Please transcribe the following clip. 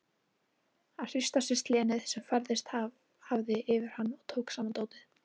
Hann hristi af sér slenið sem færst hafði yfir hann og tók saman dótið.